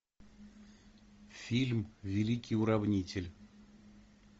фильм великий уравнитель